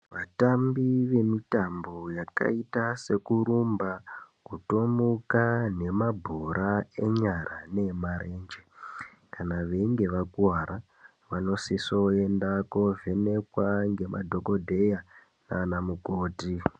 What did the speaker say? Vatambi vemutambo yakaita sekurumba kutomuka nemabhora enyara neemarenje kana veinge vakuwara vanosioenda kovhenekwa nemadhokodheya nana mukoti.